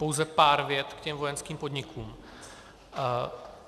Pouze pár vět k těm vojenským podnikům.